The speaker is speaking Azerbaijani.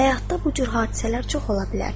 Həyatda bu cür hadisələr çox ola bilər.